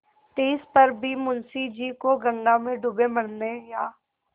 तिस पर भी मुंशी जी को गंगा में डूब मरने या